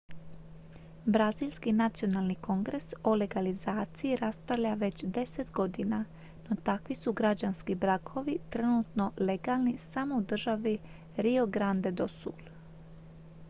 brazilski nacionalni kongres o legalizaciji raspravlja već 10 godina no takvi su građanski brakovi trenutno legalni samo u državi rio grande do sul